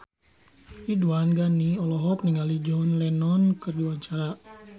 Ridwan Ghani olohok ningali John Lennon keur diwawancara